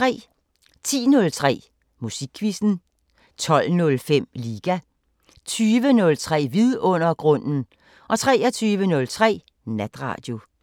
10:03: Musikquizzen 12:05: Liga 20:03: Vidundergrunden 23:03: Natradio